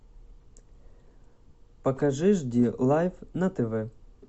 покажи жди лайф на тв